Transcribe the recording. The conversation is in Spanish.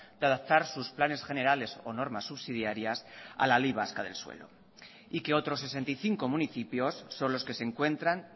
de adaptar sus planes generales o normas subsidiarias a la ley vasca del suelo y que otros sesenta y cinco municipios son los que se encuentran